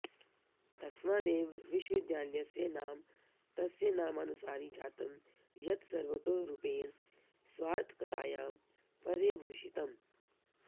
तस्मादेव विश्वविद्यालयस्य नाम तस्यनामानुसारी जातं यत् सर्वतो रूपेण स्वार्थकतायां पर्यभूषितम्